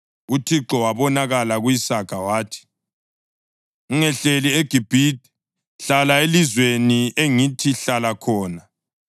UThixo wabonakala ku-Isaka wathi, “Ungehleli eGibhithe; hlala elizweni engithi hlala khona.